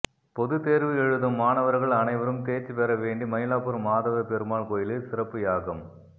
பொதுத் தேர்வு எழுதும் மாணவர்கள் அனைவரும் தேர்ச்சி பெற வேண்டி மயிலாப்பூர் மாதவ பெருமாள் கோயிலில் சிறப்பு யாகம்